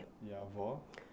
E a avó?